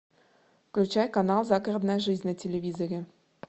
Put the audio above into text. включай канал загородная жизнь на телевизоре